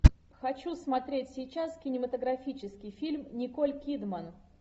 хочу смотреть сейчас кинематографический фильм николь кидман